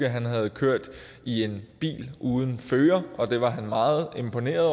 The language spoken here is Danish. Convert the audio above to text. havde kørt i en bil uden fører og var meget imponeret